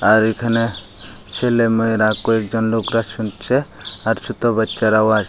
আর এখানে ছেলে মেয়েরা কয়েকজন লোকরা শুনছে আর ছুটো বাচ্চারাও আস --